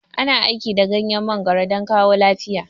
Ana amfani da ganyen mangoro don kawo lafiya